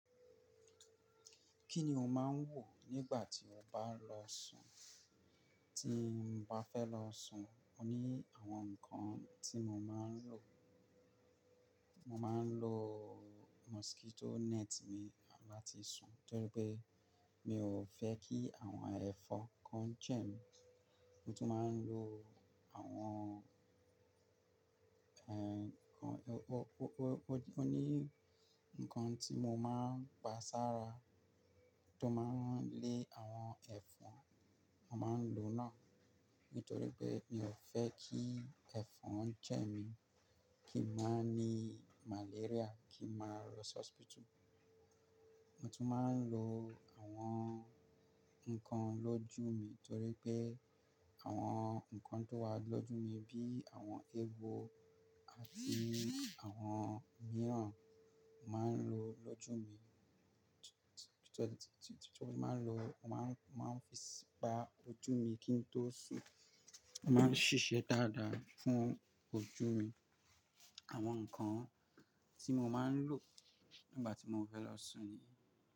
Kí ni o máa ń wò nígbà tí o bá lọ sùn? Tí n bá fẹ́ lọ sùn, mo ní àwọn nǹkan tí mo máa ń lò. Mo máa ń lo mosquito net mi láti sùn torí pé mi ò fẹ́ kí àwọn ẹ̀fọn kan jẹ́ mi. Mo tún máa ń lo àwọn, ẹ́ nǹkan, o-o-o ní nǹkan tí mo máa ń gba sára tó máa ń lé àwọn ẹ̀fọn, mo máa ń lo náà nítorí pé mi ò fẹ́ kí ẹ̀fọn jẹ́ mi, kí n má ní malaria, kí n má lọ hospital. Mo tún máa ń lo àwọn nǹkan lójú mi torí pé àwọn nǹkan tó wà lójú mi bí i àwọn eewo àti àwọn mìíràn, mo máa ń lo lójú mi. Mo máa ń lo, mo máa ń fi pa ojú mi kí n tó sùn. O máa ń ṣiṣẹ́ dáadáa fún ojú mi. Àwọn nǹkan tí mo máa ń lò nígbà tí mo fẹ́ lọ sùn nìyẹn.